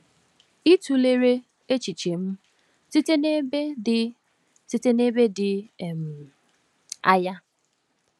Ị tụlere echiche m site n’ebe dị site n’ebe dị um anya.